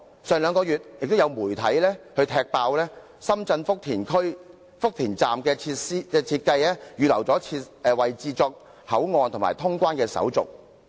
而兩個月前，亦有媒體踢爆深圳福田站的設計是預留了位置作口岸及通關手續。